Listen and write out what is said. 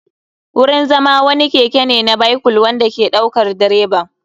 Wurin zama wani keke ne na bycyle wanda ke ɗaukar direban.